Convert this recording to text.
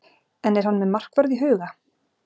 En er hann með markvörð í huga?